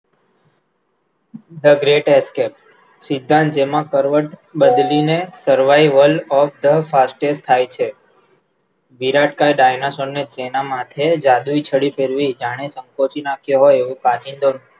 thegreatescape સિદ્ધાંત જેમાં કરવત બદલીને survival of the fastest થાય છે વિરાટકાય ડાયનાસોર નાં જેનાં માથે જાદુઈ છડી ફેરવી જાણે નાખ્યો હોઈ એવો કાચિંડો